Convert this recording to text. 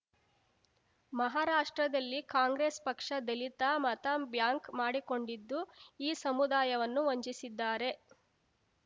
ಮಹಾರಾಷ್ಟ್ರದಲ್ಲಿ ಕಾಂಗ್ರೆಸ್ ಪಕ್ಷ ದಲಿತ ಮತಬ್ಯಾಂಕ್ ಮಾಡಿಕೊಂಡಿದ್ದು ಈ ಸಮುದಾಯವನ್ನು ವಂಚಿಸಿದ್ದಾರೆ